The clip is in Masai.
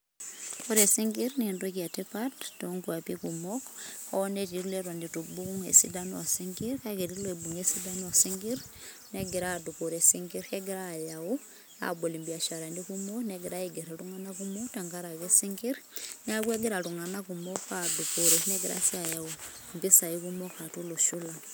ore isinkir na entoki etipat tonkwapi kumok ,hoo netii iletu eton ubung esidano osinkir, kake eti obunga esidano osinkirr, nengira adupore isinkir, kegira ayau abol ibiasharani kumok, nengira ainger iltungana kumok. tenkaraki isinkir niaku egira iltungana kumok ,adupore nengira si ayau mpisai kumok atua olosho lang.